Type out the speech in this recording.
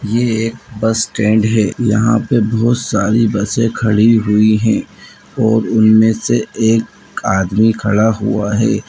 यह एक bus stand है यहाँ पर बहुत सारी बस खड़ी हुई हैं और उनमें से एक आदमी खड़ा हुआ है।